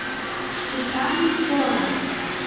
петра невзорова